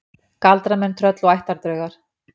Galdramenn, tröll og ættardraugar